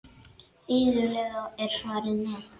Iðulega er svarið nei.